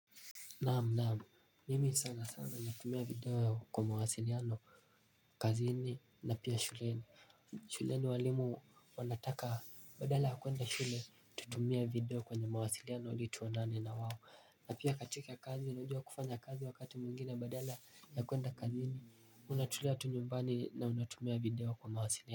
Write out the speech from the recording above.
Naam, naam, mimi sana sana natumia video kwa mawasiliano, kazini na pia shuleni. Shuleni walimu wanataka badala ya kwenda shule tutumie video kwenye mawasiliano ili tuonane na wao. Na pia katika kazi unajua kufanya kazi wakati mwingine badala ya kwenda kazini, unatulia tu nyumbani na unatumia video kwa mawasiliano.